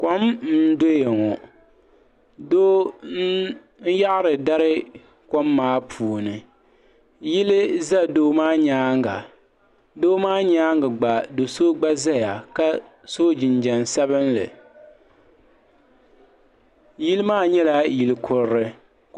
Kom n doya ŋɔ doo n yaɣiri dari kom maa puuni yili za doo maa yɛanga doo maa yɛanga gba so gba zaya ka so jinjɛm sabinli yili maa nyɛla yili kurili .